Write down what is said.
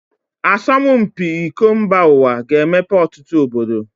Asọmụ mpi iko mba uwa ga -emepe ọtụtụ obodo.